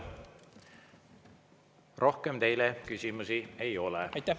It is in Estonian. Rohkem teile küsimusi ei ole.